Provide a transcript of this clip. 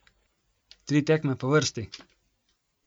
Tri tekme po vrsti?